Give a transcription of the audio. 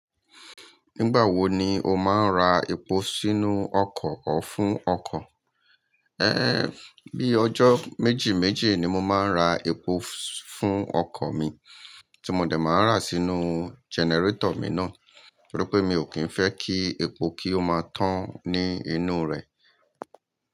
Nígbà wo ni o máa ń ra epo sínú ọkọ̀ or fún ọkọ̀? Ehn, bí ọjọ́ méjì méjì ni mo máa ń ra epo fún ọkọ̀ mi tí mo dẹ̀ máa n rá sínú jẹnẹrétọ̀ mi náà torí pé mi ò kí ń fẹ́ kí epo kí ó máa tán ní inú rẹ̀.